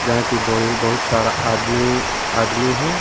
यहां की बोगी बहुत सारा आदमी आदमी है।